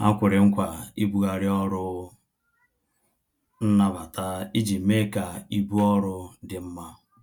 Ha kwere nkwa ibughari ọrụ nnabata iji mee ka ibu ọrụ dị mma